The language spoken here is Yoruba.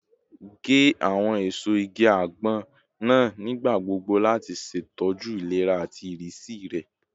Ge awọn eso igi agbon naa nigbagbogbo lati ṣetọju ilera ati irisi rẹ